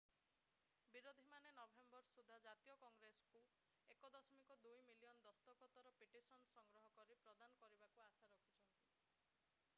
ବିରୋଧୀମାନେ ନଭେମ୍ବର ସୁଦ୍ଧା ଜାତୀୟ କଂଗ୍ରେସକୁ 1.2 ମିଲିୟନ ଦସ୍ତଖତର ପିଟିସନ ସଂଗ୍ରହ କରି ପ୍ରଦାନ କରିବାକୁ ଆଶା ରଖିଛନ୍ତି